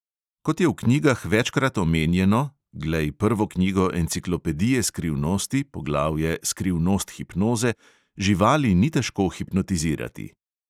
Kot je v knjigah večkrat omenjeno (glej prvo knjigo enciklopedije skrivnosti, poglavje "skrivnost hipnoze"), živali ni težko hipnotizirati.